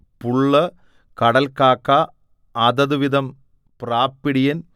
പുള്ള് കടൽകാക്ക അതത് വിധം പ്രാപ്പിടിയൻ